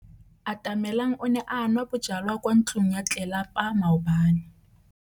Atamelang o ne a nwa bojwala kwa ntlong ya tlelapa maobane.